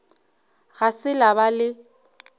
ga se la ba le